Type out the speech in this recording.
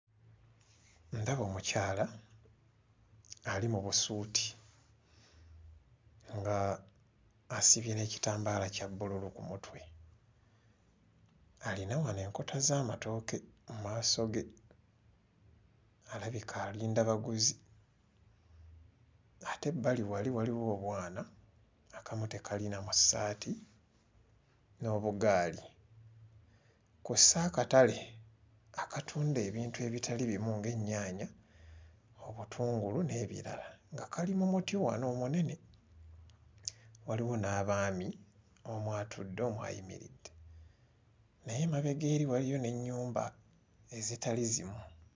Ndaba omukyala ali mu busuuti ng'asibye n'ekitambaala kya bbululu ku mutwe. Alina wano enkota z'amatooke mu maaso ge alabika alinda baguzi ate ebbali wali waliwo obwana, akamu tekali na mu ssaati, n'obugaali kw'ossa akatale akatunda ebintu ebitali bimu ng'ennyaanya, obutungulu n'ebirala nga kali mu muti wano omunene, waliwo n'abaami; omu atudde, omu ayimiridde naye emabega eri waliyo n'ennyumba ezitali zimu.